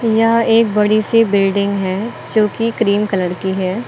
यह एक बड़ी सी बिल्डिंग है जोकि क्रीम कलर की है।